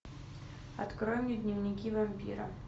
открой мне дневники вампира